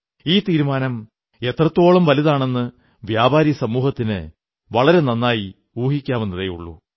ഈ തീരുമാനം എത്രത്തോളം വലുതാണെന്ന് വ്യാപാരിസമൂഹത്തിന് വളരെ നന്നായി ഊഹിക്കാവുന്നതേയുള്ളൂ